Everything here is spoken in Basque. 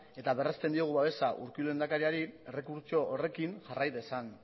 eta berrezten diogu babesa urkullu lehendakariari errekurtso horrekin jarrai dezan